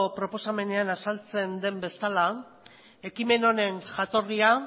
proposamenean azaltzen den bezala ekimen honen jatorria